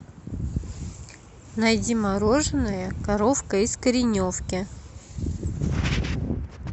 найди мороженое коровка из кореновки